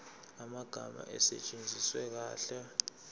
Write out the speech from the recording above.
amagama asetshenziswe kahle